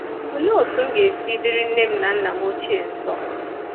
Olee otú M ga-esi diri nne m na nna M ochie nso?